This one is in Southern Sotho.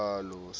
soweto e ne e na